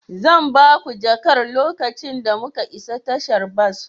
Zan ba ku jakar lokacin da muka isa tashar bas.